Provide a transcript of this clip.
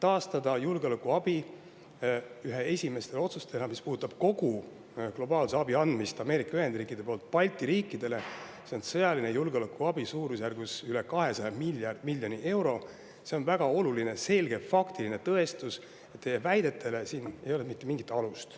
Balti riikide julgeolekuabi taastamine – see on sõjaline julgeolekuabi suurusjärgus üle 200 miljoni euro – ühe esimese otsusena, mis puudutab kogu globaalse abi andmist Ameerika Ühendriikide poolt, on väga oluline selge faktiline tõestus, et teie väidetel ei ole mitte mingit alust.